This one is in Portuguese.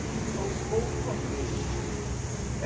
Mudou um pouco, porque